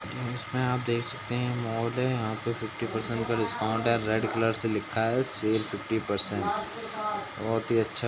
इसमें आप देख सकते हैं मॉल है यहाँ पे फिफ्टी परसेंट का डिस्काउंट है रेड कलर से लिखा है सेल फिफ्टी परसेंटज। बहुत ही अच्छा --